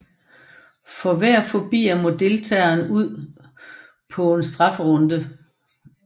For hver forbier må deltageren ud på en strafferunde